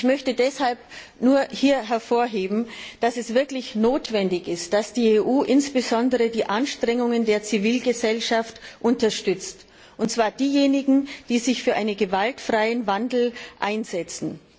Ich möchte deshalb hier nur hervorheben, dass es wirklich notwendig ist, dass die EU insbesondere die Anstrengungen der Zivilgesellschaft unterstützt, und zwar derjenigen, die sich für einen gewaltfreien Wandel einsetzen.